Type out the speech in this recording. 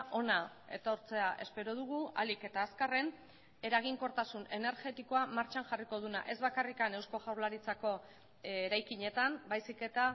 hona etortzea espero dugu ahalik eta azkarren eraginkortasun energetikoa martxan jarriko duena ez bakarrik eusko jaurlaritzako eraikinetan baizik eta